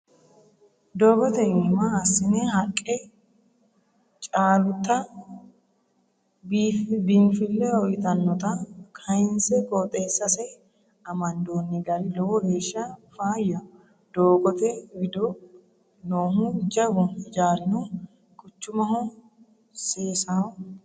Doogote iima assine haqqe caalutta biinfile uyittanotta kayinse qooxeessase amandoni gari lowo geeshsha faayyaho doogote wido noohu jawu hijaarino quchumaho seessaho.